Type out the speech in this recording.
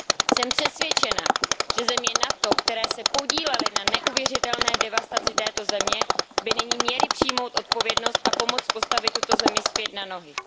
Jsem přesvědčena, že země NATO, které se podílely na neuvěřitelné devastaci této země, by nyní měly přijmout odpovědnost a pomoct postavit tuto zemi zpět na nohy.